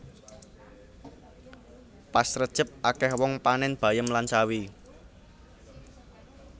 Pas rejeb akeh wong panen bayem lan sawi